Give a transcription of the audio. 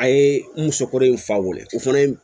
A ye n muso kɔrɔ in fa weele o fana ye